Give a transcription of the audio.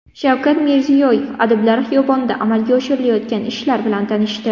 Shavkat Mirziyoyev Adiblar xiyobonida amalga oshirilayotgan ishlar bilan tanishdi.